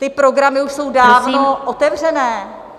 Ty programy už jsou dávno otevřené...